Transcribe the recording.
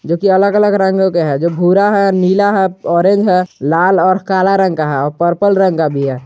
जो की अलग अलग रंगों का है जो भूरा है नीला है ऑरेंज है लाल और काला रंग का है और पर्पल रंग का भी है।